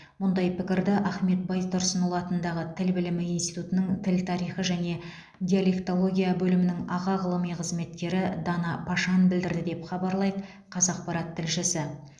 мұндай пікірді ахмет байтұрсынұлы атындағы тіл білімі институтының тіл тарихы және диалектология бөлімінің аға ғылыми қызметкері дана пашан білдірді деп хабарлайды қазақпарат тілшісі